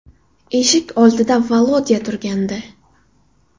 Eshik oldida Volodya turgandi.